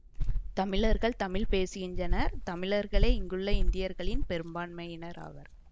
தமிழர்கள் தமிழ் பேசுகின்றனர் தமிழர்களே இங்குள்ள இந்தியர்களில் பெரும்பான்மையினர் ஆவர்